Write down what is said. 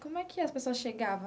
Como é que as pessoas chegavam?